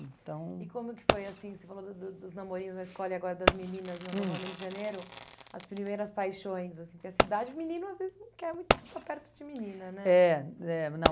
então... E como que foi assim, você falou do do dos namorinhos na escola e agora das meninas, hum, no acampamento de Janeiro, as primeiras paixões assim, porque nessa idade menino às vezes não quer muito estar perto de menina, né? É, é, não...